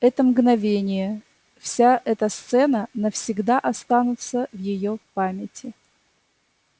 это мгновение вся эта сцена навсегда останутся в её памяти